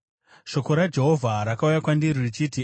Shoko raJehovha rakauya kwandiri richiti,